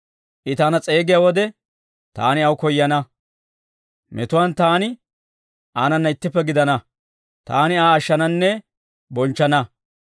I taana s'eegiyaa wode, taani aw koyana. Metuwaan taani aanana ittippe gidana; taani Aa ashshananne bonchchana.